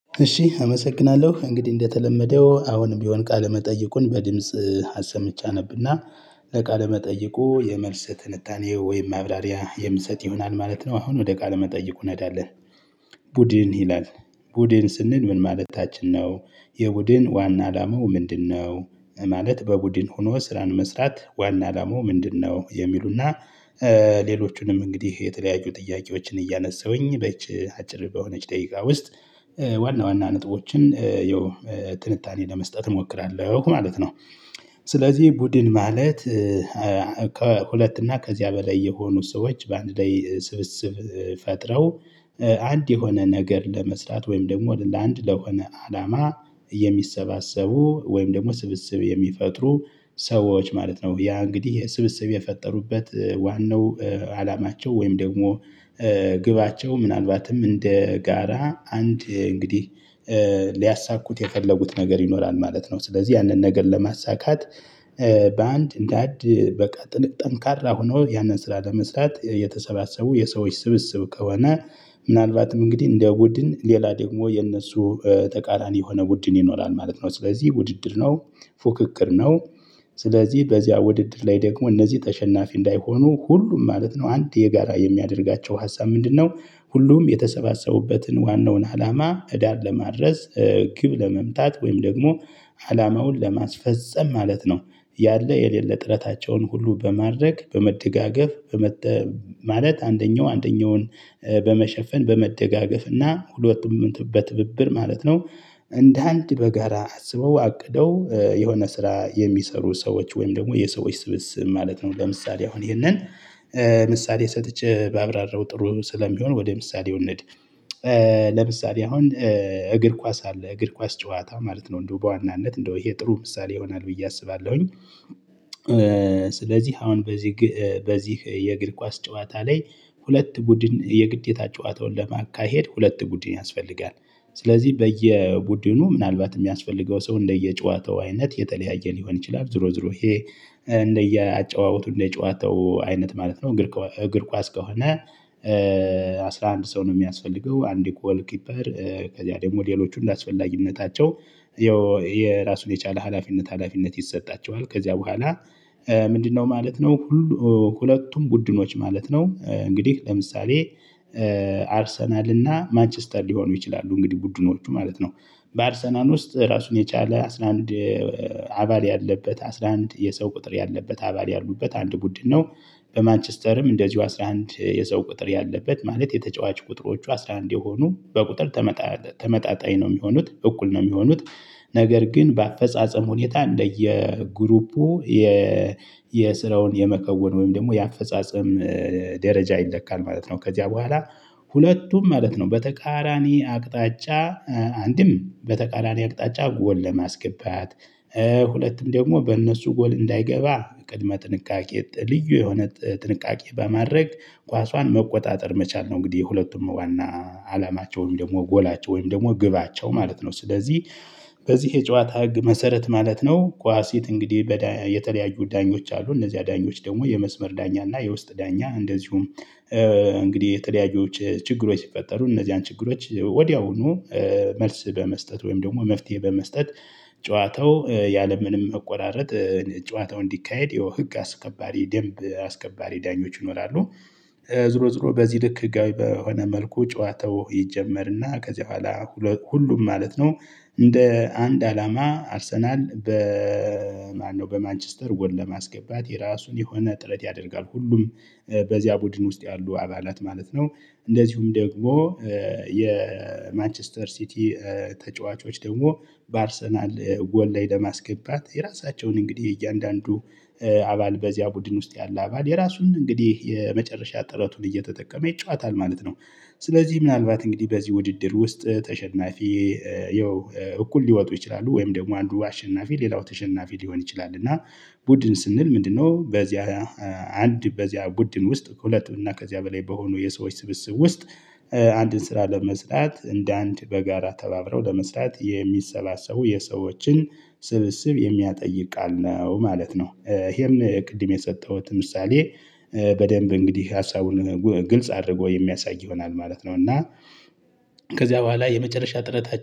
እሺ አመሰግናለሁ እንግዲህ እንደተለመደው አሁንም ብሆን ቃለ መጠይቁን በድምጽ አሰምቸ አነብና ለቃለ መጠይቁ የመልስ ትንታኔ ወይም ማብራሪያ የምሰጥ ይሆናል ማለት ነው። አሁን ወደ ቃለ መጠይቁ እንሄዳለን። ቡድን ይላል ቡድን ስንል ምን ማለታችን ነው? የቡድን ዋና አላማው ምንድነው? ማለት በቡድን ሆኖ ስራን መስራት ዋና አላማው ምንድነው የሚሉና። ሌሎቹንም እንግዲህ የተለያዩ ጥያቄዎችን እያነሳሁኝ በዚች አጭር በሆነች ደቂቃ ውስጥ ዋና ዋና ነጥቦችን ያው ጥንታኔ ለመስጠት እሞክራለሁ ማለት ነው። ስለዚህ ቡድን ማለት። ከሁለት እና ከዚያ በላይ የሆኑ ሰዎች በአንድ ላይ ስብስብ ፈጥረው አንድ የሆነ ነገር ለመስራት ወይም ደግሞ ለአንድ ለሆነ አላማ የሚሰባሰቡ ወይም ደግሞ ስብስብ የሚፈጥሩ ሰዎች ማለት ነው። ያ እንግዲህ ስብስብ የፈጠሩበት ዋናው አላማቸው ወይም ደግሞ ግባቸው ምናልባትም እንደ ጋራ አንድ እንግዲህ ሊያሳኩት የፈለጉት ነገር ይኖራል ማለት ነው። ስለዚህ ያንን ነገር ለማሳካት በአንድ እንደአንድ በቃ ጠንካራ ሆነው ያንን ስራ ለመስራት የተሰባሰቡ የሰዎች ስብስብ ከሆነ። ምናልባትም እንግዲህ እንደ ቡድን ሌላ ደግሞ የነሱ ተቃራኒ የሆነ ቡድን ይኖራል ማለት ነው። ስለዚህ ውድድር ነው ፉክክር ነው። ስለዚህ በዚያ ውድድር ላይ ደግሞ እነዚህ ተሸናፊ እንዳይሆኑ ሁሉም ማለት ነው አንድ የጋራ የሚያደርጋቸው ሀሳብ ምንድነው? ሁሉም የተሰባሰቡበትን ዋናውን አላማ ዳር ለማድረስ ግብ ለመምታት ወይም ደግሞ አላማውን ለማስፈፀም ማለት ነው። ያለ የሌለ ጥረታቸውን ሁሉ በማድረግ በመደጋገፍ ማለት አንደኛው አንደኛውን በመሸፈን በመደጋገፍ እና በትብብር ማለት ነው። እንደ አንድ በጋራ አስበው አቅደው የሆነ ስራ የሚሰሩ ሰዎች ወይም ደግሞ የሰዎች ስብስብ ማለት ነው። ለምሳሌ አሁን ይሄንን ምሳሌ ሰጥቼ ባብራራው ጥሩ ስለሚሆን ወደ ምሳሌው እንሂድ። ለምሳሌ አሁን እግር ኳስ አለ እግር ኳስ ጨዋታ ማለት ነው እንደው በዋናነት እንደው ይሄ ጥሩ ምሳሌ ይሆናል ብዬ አስባለሁኝ። ስለዚህ አሁን በዚህ በዚህ የእግር ኳስ ጨዋታ ላይ ሁለት ቡድን የግዴታ ጨዋታውን ለማካሄድ ሁለት ቡድን ያስፈልጋል። ስለዚህ በየቡድኑ ምናልባት የሚያስፈልገው ሰው እንደየጨዋታው አይነት የተለያየ ሊሆን ይችላል ዙሮ ዙሮ ይሄ እንደየአጨዋወቱ እንደጨዋታው አይነት ማለት ነው። እግር ኳስ ከሆነ። 11 ሰው ነው የሚያስፈልገው አንድ ጎል ኪፐር ከዛ ደግሞ ሌሎቹ እንደ አስፈላጊነታቸው ያው የራሱን የቻለ ሀላፊነት ሀላፊነት ይሰጣቸዋል ከዚያ በኋላ ምንድነው ማለት ነው? ሁለቱም በድኖች ማለት ነው እንግዲህ ለምሳሌ አርሰናል እና ማችስተር ሊሆኑ ይችላሉ እንግዲህ ቡድኖቹ ማለት ነው። በአርሰናል ውስጥ ራሱን የቻለ አስራ አንድ አባል ያለበት አስራ አንድ የሰው ቁጥር ያለበት አባል ያሉበት አንድ ቡድን ነው። በማንችስተርም እንደዚሁ አስራ አንድ የሰው ቁጥር ያለበት ማለት የተጫዋች ቁጥሮቹ አስራ አንድ የሆኑ በቁጥር ተመጣጣኝ ነው የሚሆኑት እኩል ነው የሚሆኑት። ነገር ግን በአፈጻጸም ሁኔታ እንደየ ግሩፑ ስራውን የመከወን ወይም ደግሞ የአፈጻጸም ደረጃ ይለካል ማለት ነው። ከዚያ በኋላ ሁለቱም ማለት ነው በተቃራኒ አቅጣጫ አንድም በተቃራኒ አቅጣጫ ጎል ለማስገባት ሁለትም ደግሞ በእነሱ ጎል እንዳይገባ ቅድመ ጥንቃቄ ልዩ የሆነ ጥንቃቄ በማድረግ ኳሷን መቆጣጠር መቻል ነው። እንግዲህ የሁለቱም ዋና አላማቸው ወይም ደግሞ ጎላቸው ወይም ደግሞ ግባቸው ማለት ነው። ስለዚህ በዚህ የጨዋታ ህግ መሰረት ማለት ነው። ቋሲት እንግዲህ የተለያዩ ዳኞች አሉ እነዚያ ዳኞች ደግሞ የመስመር ዳኛ እና የውስጥ ዳኛ እንደዚሁም። እንግዲህ የተለያዩ ችግሮች ሲፈጠሩ እነዚያን ችግሮች ወዲያውኑ መልስ በመስጠት ወይም ደግሞ መፍትሄ በመስጠት ጨዋታው ያለምንም መቆራረጥ ጨዋታው እንዲካሄድ ያው ህግ አስከባሪ ደንብ አስከባሪ ዳኞች ይኖራሉ። ዙሮ ዙሮ በዚህ ልክ ህጋዊ በሆነ መልኩ ጨዋታው ይጀመርና ከዚያ በኋላ ሁሉም ማለት ነው። እንደ አንድ አላማ አርሰናል በማነው በማንችስተር ጎል ለማስገባት የራሱን የሆነ ጥረት ያደርጋል ሁሉም በዚያ ቡድን ውስጥ ያሉ አባላት ማለት ነው። እንደዚሁም ደግሞ የማንችስተር ሲቲ ተጫዋቾች ደግሞ በአርሰናል ጎል ላይ ለማስገባት የራሳቸውን እንግዲህ እያንዳንዱ አባል በዚያ ቡድን ውስጥ ያለ አባል የራሱን እንግዲህ የመጨረሻ ጥረቱን እየተጠቀመ ይጫወታል ማለት ነው። ስለዚህ ምናልባት እንግዲህ በዚህ ውድድር ውስጥ ተሸናፊ ያው እኩል ሊወጡ ይችላሉ ወይም ደግሞ አንዱ አሸናፊ ሌላው ተሸናፊ ሊሆን ይችላል። እና ቡድን ስንል ምንድነው? በዚያ አንድ በዚያ ቡድን ውስጥ ከሁለት እና ከዚያ በላይ በሆኑ የሰዎች ስብስብ ውስጥ አንድን ስራ ለመስራት እንደ አንድ በጋራ ተባብረው ለመስራት የሚሰባሰቡ የሰዎችን ስብስብ የሚያጠይቅ ቃል ነው ማለት ነው። ይሄም ቅድም የሰጠሁት ምሳሌ። በደንብ እንግዲህ ሀሳቡን ግልጽ አድርጎ የሚያሳይ ይሆናል ማለት ነው። እና ከዚያ በኋላ የመጨረሻ ጥረታችን